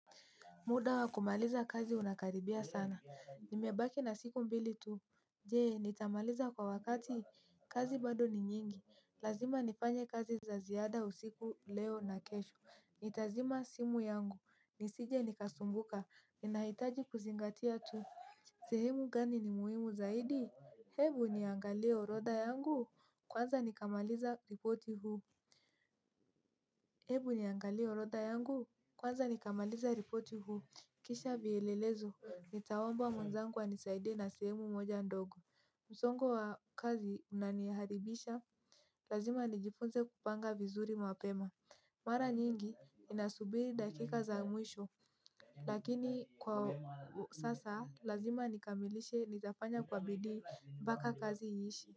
Muda wa kumaliza kazi unakaribia sana. Nimebaki na siku mbili tu. Jee, nitamaliza kwa wakati. Kazi bado ni nyingi. Lazima nifanye kazi za ziada usiku leo na kesho. Nitazima simu yangu. Nisije nikasumbuka. Ninahitaji kuzingatia tu. Sehemu gani ni muhimu zaidi? Hebu niangalie orodha yangu. Kwanza nikamaliza ripoti huu. Hebu niangalie orodha yangu. Kwanza nikamaliza ripoti huu. Kisha vielelezo, nitaomba mwenzangu anisaidie na sehemu moja ndogo, msongo wa kazi unaniharibisha, lazima nijifunze kupanga vizuri mapema, mara nyingi ninasubiri dakika za mwisho. Lakini kwa sasa, lazima nikamilishe nitafanya kwa bidii mpaka kazi iishe.